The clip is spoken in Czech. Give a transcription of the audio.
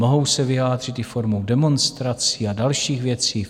Mohou se vyjádřit i formou demonstrací a dalších věcí.